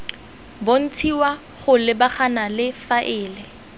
bontshiwa go lebagana le faele